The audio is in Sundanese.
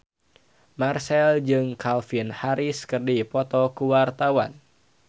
Marchell jeung Calvin Harris keur dipoto ku wartawan